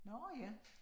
Nåh ja